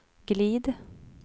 glid